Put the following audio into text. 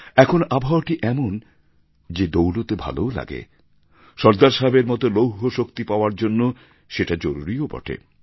এখন আবহাওয়াটি এমন যে দৌড়তে ভালোও লাগে সর্দার সাহেবের মতো লৌহ শক্তি পাওয়ার জন্য সেটা জরুরিও বটে